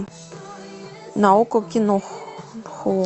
на окко кино